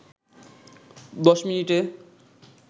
১০ মিনিটে